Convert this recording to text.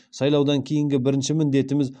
сайлаудан кейінгі бірінші міндетіміз